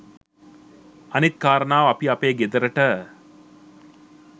අනිත් කාරණාව අපි අපේ ගෙදරට